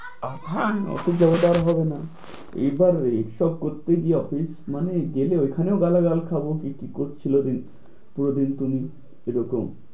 আবার office যাও্যাটা আর হবে না এবার এইসব করতে গেলে office মানে গেলে ওইখানেও গালাগাল খাব কি করছিল ওই দিন পুরো দিন তুমি এরকম